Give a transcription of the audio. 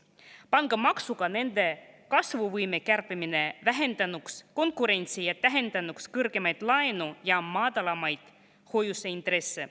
Pangamaksuga nende kasvuvõime kärpimine vähendanuks konkurentsi ja tähendanuks kõrgemaid laenu‑ ja madalamaid hoiuseintresse.